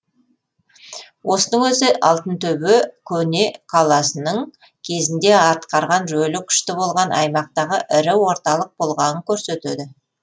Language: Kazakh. осының өзі алтынтөбе көне қаласының кезінде атқарған рөлі күшті болған аймақтағы ірі орталық болғанын көрсетеді